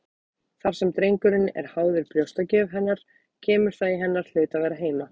Þar sem drengurinn er háður brjóstagjöf hennar kemur það í hennar hlut að vera heima.